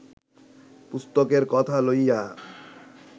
পুস্তকের কথা লইয়া